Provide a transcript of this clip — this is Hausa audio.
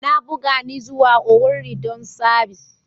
Na buga ni zuwa Owerri dan sabis.